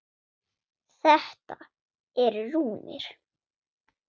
Þetta eru rúnir.